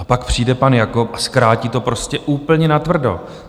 A pak přijde pan Jakob a zkrátí to prostě úplně natvrdo.